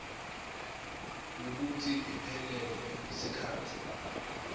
kwekutsi iphelelwe sikhatsi